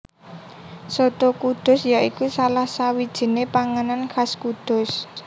Soto Kudus ya iku salah sawijiné panganan khas Kudus